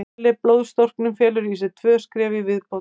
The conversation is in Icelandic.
Eðlileg blóðstorknun felur í sér tvö skref í viðbót.